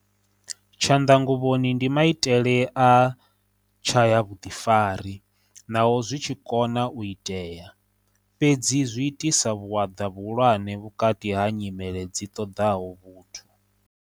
Tshanḓanguvhoni ndi maitele a tshayavhuḓifari naho zwi tshi kona u itea, fhedzi zwi itisa vhuaḓa vhuhulwane vhukati ha nyimele dzi ṱoḓaho vhuthu.